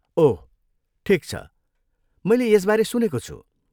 ओह, ठिक छ, मैले यसबारे सुनेको छु।